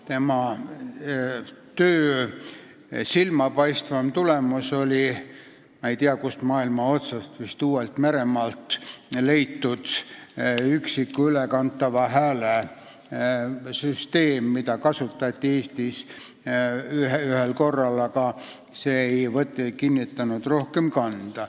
Tema töö silmapaistvaim tulemus oli – ma ei tea, kust maailma otsast, vist Uus-Meremaalt leitud – üksiku ülekantava hääle süsteem, mida kasutati Eestis ühel korral, aga kanda see ei kinnitanud.